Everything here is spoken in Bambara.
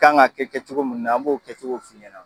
Kan ga kɛ kɛcogo munnu na an b'o kɛcogow f'i ɲɛna